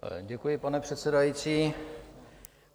Děkuji, pane předsedající.